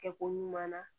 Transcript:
Kɛ ko ɲuman na